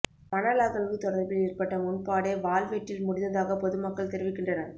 மணல் அகழ்வு தொடர்பில் ஏற்பட்ட முரண்பாடே வாள் வெட்டில் முடிந்ததாக பொது மக்கள் தெரிவிக்கின்றனர்